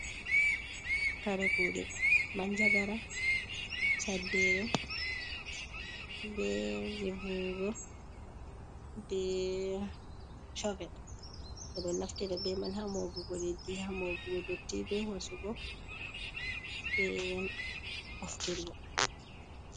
"Kare kude" man jagara, saddere ɓe je vowugo be shovel bedo naftira be man ha moɓugo leɗɗi ha moɓugo dotti ɓe hosugo be ɓoftirgo.